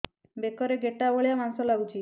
ବେକରେ ଗେଟା ଭଳିଆ ମାଂସ ଲାଗୁଚି